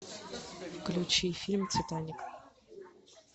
включи фильм титаник